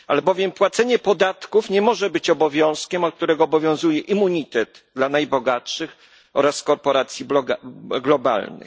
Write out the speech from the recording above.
Albowiem płacenie podatków nie może być obowiązkiem, od którego obowiązuje immunitet dla najbogatszych oraz korporacji globalnych.